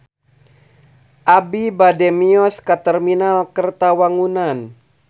Abi bade mios ka Terminal Kertawangunan